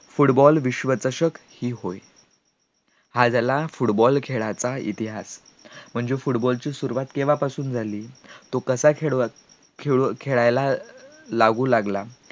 football विषवचशक हे होय, हा झाला football खेळाचा इतिहास म्हणजे football ची सुरवात कधीपासून झाली तो कसा खेळवत खेळायला लागू लागला